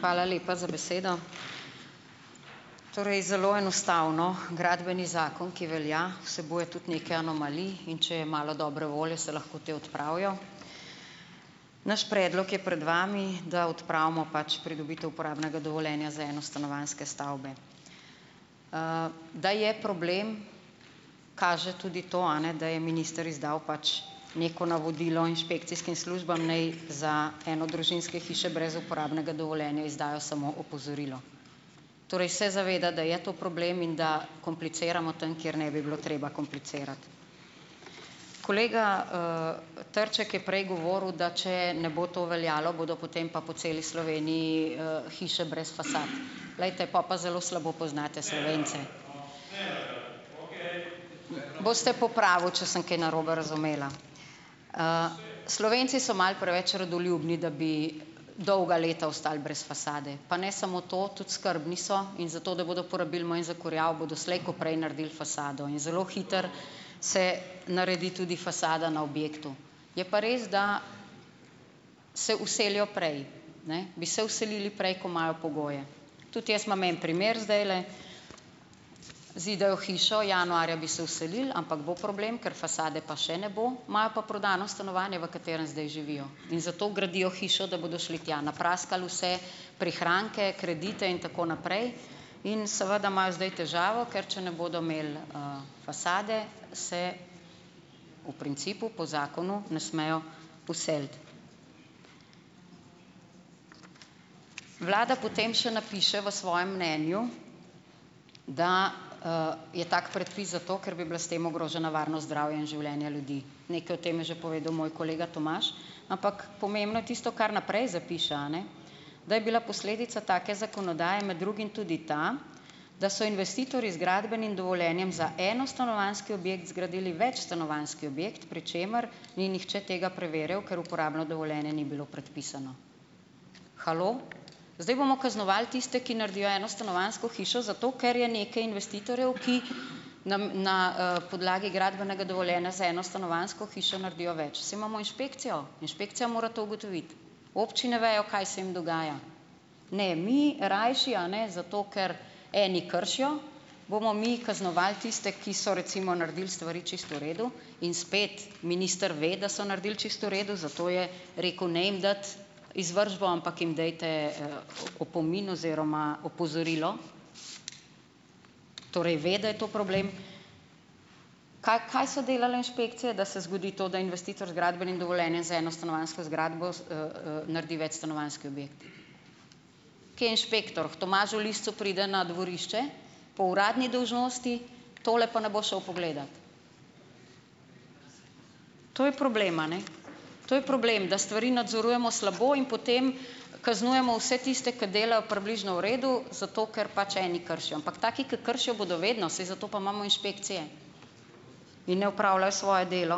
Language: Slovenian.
Hvala lepa za besedo. Torej zelo enostavno, gradbeni zakon, ki velja, vsebuje tudi nekaj anomalij, in če je malo dobre volje, se lahko te odpravijo. Naš predlog je pred vami, da odpravimo pač pridobitev uporabnega dovoljenja za enostanovanjske stavbe. Da je problem, kaže tudi to, a ne, da je minister izdal pač neko navodilo inšpekcijskim službam, naj za enodružinske hiše brez uporabnega dovoljenja izdajo samo opozorilo. Torej se zaveda, da je to problem in da kompliciramo tam, kjer ne bi bilo treba komplicirati. Kolega, Trček je prej govoril, da če ne bo to veljalo, bodo potem pa po celi Sloveniji, hiše brez fasad. Glejte, pol pa zelo slabo poznate Slovence. Boste popravil, če sem kaj narobe razumela. Slovenci so malo preveč redoljubni, da bi dolga leta ostali brez fasade. Pa ne samo to, tudi skrbni so in zato, da bodo porabili manj za kurjavo, bodo slej ko prej naredili fasado in zelo hitro se naredi tudi fasada na objektu. Je pa res, da se vselijo prej. Ne. Bi se vselili prej, ko imajo pogoje. Tudi jaz imam en primer zdajle. Zidajo hišo, januarja bi se vselili, ampak bo problem, ker fasade pa še ne bo, imajo pa prodano stanovanje, v katerem zdaj živijo, in zato gradijo hišo, da bodo šli tja, napraskali vse prihranke, kredite in tako naprej, in seveda imajo zdaj težavo, ker če ne bodo imeli, fasade, se v principu po zakonu ne smejo vseliti. Vlada potem še napiše v svojem mnenju, da, je tak predpis zato, ker bi bila s tem ogrožena varnost zdravja in življenja ljudi. Nekaj o tem je že povedal moj kolega Tomaž, ampak pomembno je tisto, kar naprej zapiše, a ne, da je bila posledica take zakonodaje med drugim tudi ta, da so investitorji z gradbenim dovoljenjem za enostanovanjski objekt zgradili večstanovanjski objekt, pri čemer ni nihče tega preverjal, ker uporabno dovoljenje ni bilo predpisano. Halo! Zdaj bomo kaznovali tiste, ki naredijo enostanovanjsko hišo zato, ker je nekaj investitorjev, ki na na, podlagi gradbenega dovoljenja za enostanovanjsko hišo naredijo več. Saj imamo inšpekcijo, inšpekcija mora to ugotoviti. Občine vejo, kaj se jim dogaja. Ne, mi rajši a ne zato, ker eni kršijo, bomo mi kaznovali tiste, ki so recimo naredili stvari čisto v redu, in spet minister ve, da so naredili čisto v redu, zato je rekel, ne jim dati izvršbo, ampak jim dajte, opomin oziroma opozorilo, torej ve, da je to problem. Kaj, kaj so delale inšpekcije, da se zgodi to, da investitor z gradbenim dovoljenjem za enostanovanjsko zgradbo naredi večstanovanjski objekt. Kje je inšpektor? K Tomažu Licu pride na dvorišče po uradni dolžnosti, tole pa ne bo šel pogledat. To je problem, a ne. To je problem, da stvari nadzorujemo slabo in potem kaznujemo vse tiste, ki delajo približno v redu zato, ker pač eni kršijo, ampak taki, ki kršijo, bodo vedno, saj zato pa imamo inšpekcije in ne opravljajo svoje delo.